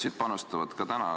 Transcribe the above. Sotsid panustavad ka täna.